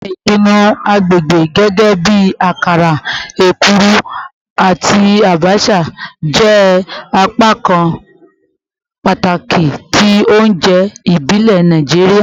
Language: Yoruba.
Awọn ipanu agbegbe gẹgẹbi akara, ekuru, ati abacha jẹ apakan pataki ti ounjẹ ibile Naijiria